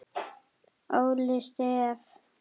Óli Stef.